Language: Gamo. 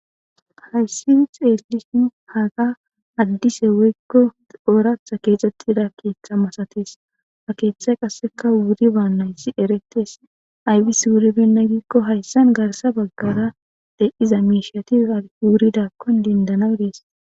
hayssi xeelishin haaga addise woykko ooratha keexxettida keeththa masatis a keeththa qasseka wuri baannayssi eretes aybis wuribenna giikko hayssan garsa baggara de7iza meishiyatiwuridakkon dendanadees